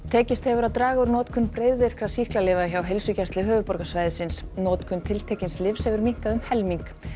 tekist hefur að draga úr notkun breiðvirkra sýklalyfja hjá Heilsugæslu höfuðborgarsvæðisins notkun tiltekins lyfs hefur minnkað um helming